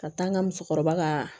Ka taa n ka musokɔrɔba kaa